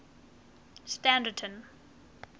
standerton